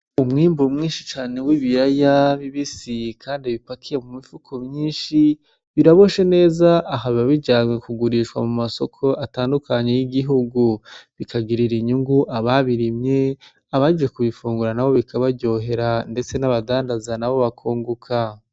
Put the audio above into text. Umwimbu mwinshi cane w'ibiraya bibisi kandi bipakiye mu mifuko myinshi biraboshe neza aha biba bijanwe kugurishwa mu masoko atandukanye y'igihugu bikagirira inyungu ababirimye abaje kubifungura nabo bikabaryohera ndetse n'abadandaza nabo bakunguka.